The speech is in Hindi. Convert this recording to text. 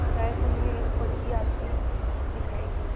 एकाएक उन्हें एक बग्घी आती दिखायी दी